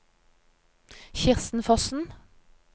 Kirsten Fossen